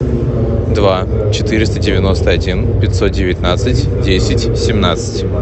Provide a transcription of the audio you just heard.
два четыреста девяносто один пятьсот девятнадцать десять семнадцать